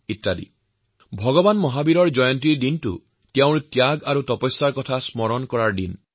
মহাবীৰ জয়ন্তী ভগবান মহাবীৰৰ ত্যাগ আৰু তপস্যাক স্মৰণ কৰাৰ দিন